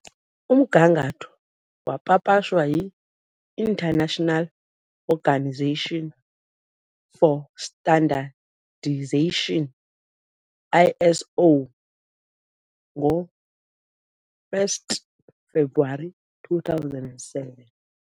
Umgangatho wapapashwa yi-International Organisation for Standardization, ISO, ngo-1 February 2007 .